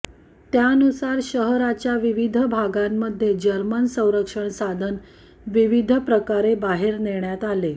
त्यानुसार शहराच्या विविध भागांमध्ये जर्मन संरक्षण साधन विविध प्रकारे बाहेर नेण्यात आले